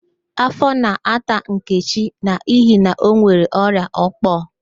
Afọ na-ata Nkechi n'ihi na onwere ọrịa ókpó